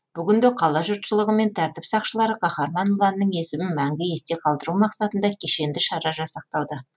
бүгінде қала жұртшылығы мен тәртіп сақшылары қаһарман ұланның есімін мәңгі есте қалдыру мақсатында кешенді шара жасақтауда